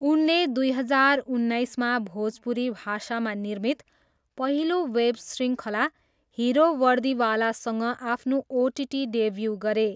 उनले दुई हजार उन्नाइसमा भोजपुरी भाषामा निर्मित पहिलो वेब शृङ्खला हिरो वर्दीवालासँग आफ्नो ओटिटी डेब्यू गरे।